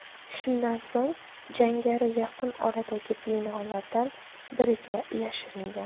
Shundan so‘ng jangari yaqin oradagi binolardan biriga yashiringan.